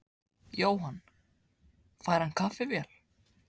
Jóhann: Fær hann kaffivél?